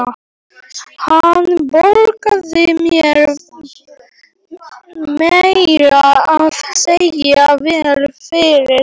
Hann borgaði mér meira að segja vel fyrir þá.